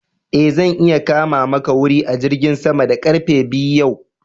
E, zan iya kama maka wuri a jirgin sama da karfe biyu yau.